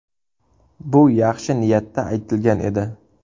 Bu yaxshi niyatda aytilgan edi.